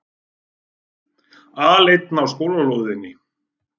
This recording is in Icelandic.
Aleinn á skólalóðinni.